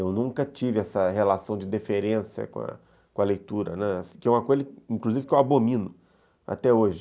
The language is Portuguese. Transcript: Eu nunca tive essa relação de deferência com a com a leitura, né, que é uma coisa que eu abomino até hoje.